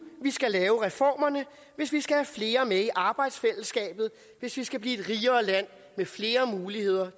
vi skal lave reformerne hvis vi skal have flere med i arbejdsfællesskabet hvis vi skal blive et rigere land med flere muligheder